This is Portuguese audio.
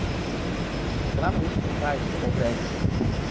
Uhum. Porque lá no Rio, os quintais, tudo é grande, né? Uhum.